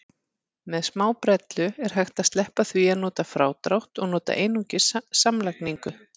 Með smábrellu er hægt að sleppa því að nota frádrátt og nota einungis samlagningu.